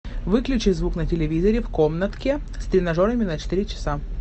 выключи звук на телевизоре в комнатке с тренажерами на четыре часа